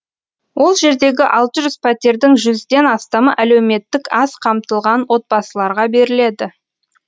ол жердегі алты жүз пәтердің жүзден астамы әлеуметтік аз қамтылған отбасыларға беріледі